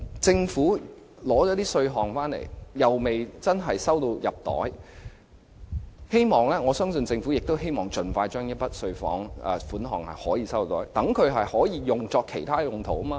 政府徵收了稅款，又未能正式入帳，我相信政府亦希望盡快解決這問題，以便將稅款作其他用途。